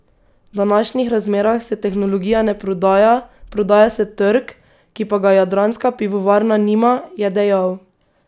V današnjih razmerah se tehnologija ne prodaja, prodaja se trg, ki pa ga Jadranska pivovarna nima, je dejal.